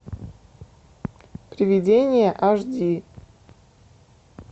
приведение аш ди